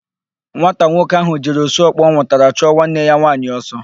Nwata nwoke ahụ jiri osu ọkpọ ọ nwụtara chụọ nwanne ya nwaanyị ọsọ.